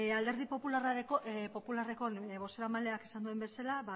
alderdi popularrareko bozeramaleak esan duen bezala